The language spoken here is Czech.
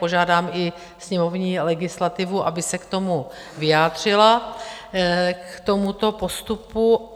Požádám i sněmovní legislativu, aby se k tomu vyjádřila, k tomuto postupu.